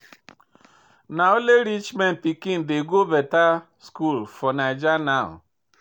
Na only rich man pikin dey go better school for Naija now.